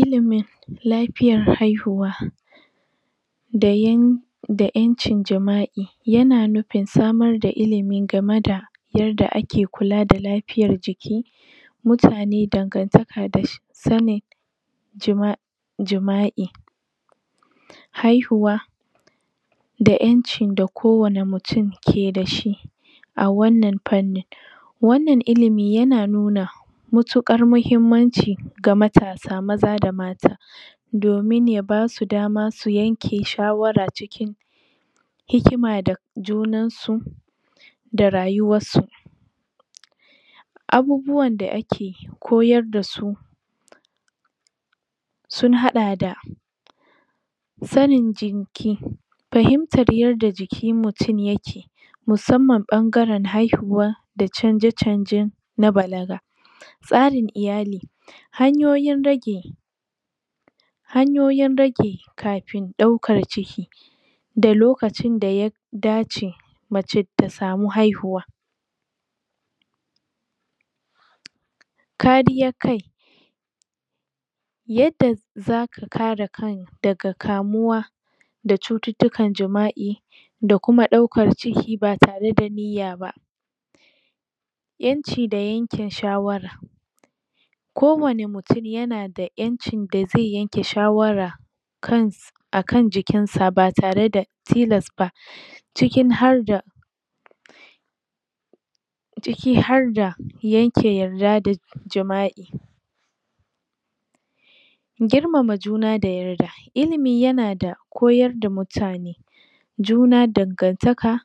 Ilimin lafiyar haihuwa dayan da ƴancin jima'i yana nufin samar da ilimin gama da yarda ake kula da lafiyar jiki mutane dan gantaka da sane jima jima'i haihuwa da ƴanci da kowane mutun ke dashi a wannan fannin wannan ilimi yana nuna mutuƙar mahim manci ga matasa maza da mata domin yaba su dama su yanke shawara cikin hikima da junan su da rayuwassu. Abubuwan da ake koyardasu sunhaɗa da sanin jinki fahimtar yadda jikin mutun yake musamman ɓan garan haihuwa da canja canjan na balaga. Tsarin iyali hanyoyin rage hanyoyin rage kafin ɗaukan ciki da lokacin da ya dace mace ta samu haihuwa. Kariyar kai yadda zaka kare kan daga kamuwa da cututtukan jima'i da kuma ɗaukar ciki batare da niyyaba. ƴanci da yankin shawara ko wane mutun yanada ƴanci da ze yanke shawara kan akan jikinsa batare da tilasba cikin harda ciki harda yanke yarda da jima'i. girmama juna da yarda ilimi yanada koyarda mutane juna dangantaka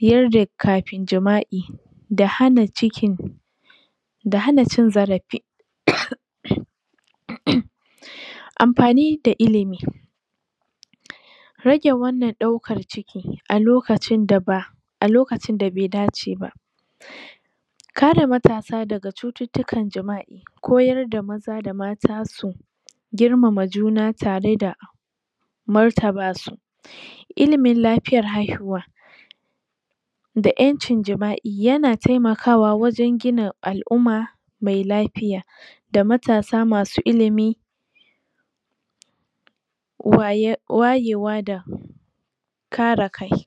yarda kafin jima'i da hana cikin da hana cin zarafi?? um amfani da ilimi rage wannan ɗaukar ciki alokacin da ba alokacin da be daceba kare matasa daga cututtukan jima'i koyarda da maza da mata su girmama juna tare da martaba su ilimin lafiyar haihuwa da ƴancin jima'i yana temakawa wajan gina al'umma me lafiya da matasa masu ilimi waye wayewa da kare kai